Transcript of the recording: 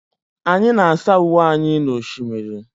Anyị na-asa uwe anyị n'osimiri.